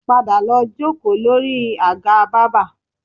Padà lọ jókòó lórí àga bábà